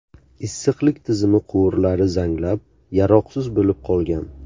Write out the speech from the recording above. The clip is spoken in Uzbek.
Issiqlik tizimi quvurlari zanglab, yaroqsiz bo‘lib qolgan.